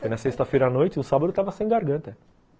Foi na sexta-feira à noite, o sábado eu estava sem garganta.